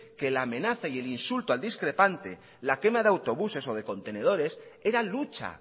que la amenaza y el insulto al discrepante la quema de autobuses o de contenedores era lucha